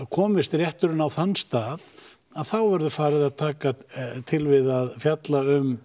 komist rétturinn á þann stað þá verður farið að taka til við að fjalla um